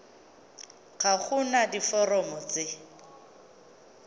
ga go na diforomo tse